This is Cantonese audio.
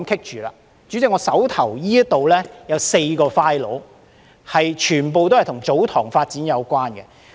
代理主席，我手邊有4個 files， 全部都與祖堂地發展有關。